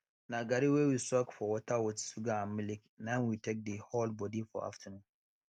na garri wey we soak for water with sugar and milk na im we take dey hold body for afternoon